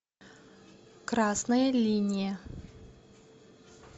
красная линия